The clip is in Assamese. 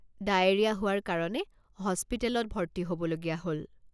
ডায়েৰিয়া হোৱাৰ কাৰণে হস্পিটেলত ভৰ্তি হ'বলগীয়া হ'ল।